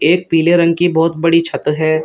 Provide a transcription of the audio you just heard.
एक पीले रंग की बहोत बड़ी छत है।